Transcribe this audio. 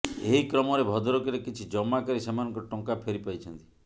ଏହି କ୍ରମରେ ଭଦ୍ରକରେ କିଛି ଜମାକାରୀ ସେମାନଙ୍କର ଟଙ୍କା ଫେରିପାଇଛନ୍ତି